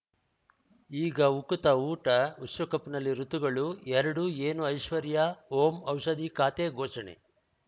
ಈಗ ಉಕುತ ಊಟ ವಿಶ್ವಕಪ್‌ನಲ್ಲಿ ಋತುಗಳು ಎರಡು ಏನು ಐಶ್ವರ್ಯಾ ಓಂ ಔಷಧಿ ಖಾತೆ ಘೋಷಣೆ